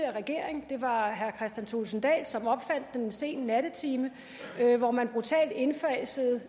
regering det var herre kristian thulesen dahl som opfandt den en sen nattetime hvor man brutalt indfasede